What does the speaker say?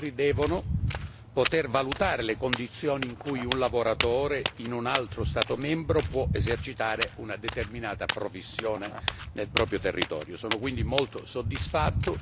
Al contempo, gli Stati membri devono poter valutare le condizioni in cui un lavoratore in un altro Stato membro può esercitare una determinata professione nel proprio territorio.